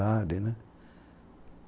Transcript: né.